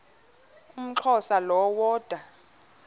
umxhosa lo woda